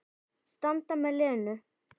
Standa með Lenu.